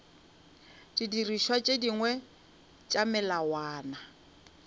didirišwa tše dingwe tša melawana